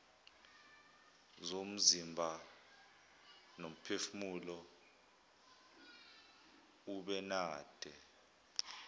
zomzimba nomphefumulo ubenade